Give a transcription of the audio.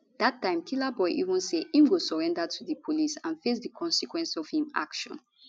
dat time killaboi even say im go surrender to di police and face di consequence of im action